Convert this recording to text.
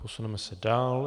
Posuneme se dál.